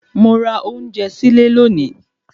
Mo ra ounje sile lóòní